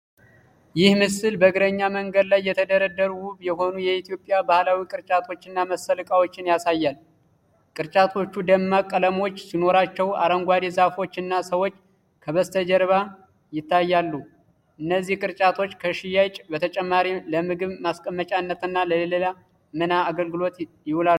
ይህ ምስል በእግረኛ መንገድ ላይ የተደረደሩ፣ ውብ የሆኑ የኢትዮጵያ ባህላዊ ቅርጫቶችና መሰል ዕቃዎችን ያሳያል። ቅርጫቶቹ ደማቅ ቀለሞች ሲኖሩዋቸው፣ አረንጓዴ ዛፎች እና ሰዎች ከበስተጀርባ ይታያሉ። እነዚህ ቅርጫቶች ከሽያጭ በተጨማሪ ለምግብ ማስቀመጫነትና ለሌላ ምን አገልግሎት ይውላሉ?